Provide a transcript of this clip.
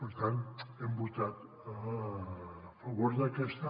per tant hem votat a favor d’aquesta